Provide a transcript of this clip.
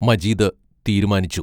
മജീദ് തീരുമാനിച്ചു.